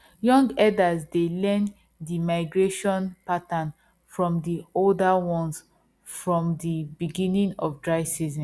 young herders dey learn the migration pattern from the older ones from the beginning of dry season